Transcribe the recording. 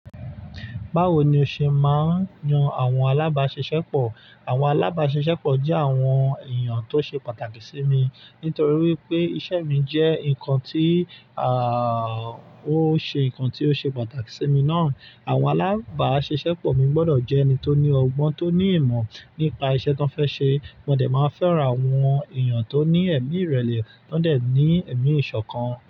Báwo ni o ṣe máa ń yan àwọn alábáṣiṣẹ́pọ̀? Àwọn alábáṣiṣẹ́pọ̀ jẹ́ àwọn èèyàn tó ṣe pàtàkì sí mi nítorí wípé isẹ́ mi jẹ́ ǹkan tí, àà, ó ṣe ǹkan tí ó ṣe pàtàkì sí mi náà. Àwọn alábáṣiṣẹ́pọ̀ mi gbọdọ̀ jẹ́ ẹni tó ní ọgbọ́n, tó ní ìmọ̀ nípa isẹ́ tí wọ́n fẹ́ ṣe, mo dẹ̀ máa fẹ́ra àwọn èèyàn tó ní ẹ̀mí ìrẹ̀lẹ̀ tó dẹ̀ ní ẹ̀mí ìṣọ̀kan.